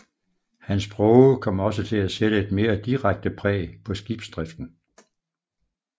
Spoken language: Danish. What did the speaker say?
Hans Broge kom også til at sætte et mere direkte præg på skibsdriften